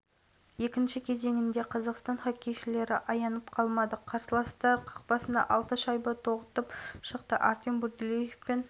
әр шабуыл сайын қарсыластар қақпасына шайба тоғытумен болды владимир гребенщиков әлихан әсетов антон сагадеев дмитрий